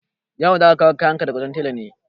Ya'u, za ka kawo kayan ka daga wajen tela ne?